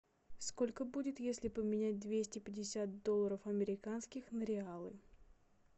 сколько будет если поменять двести пятьдесят долларов американских на реалы